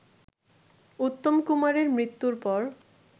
উত্তম কুমারের মৃত্যুর পর